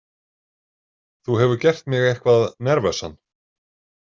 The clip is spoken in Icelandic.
Þú hefur gert mig eitthvað nervösan.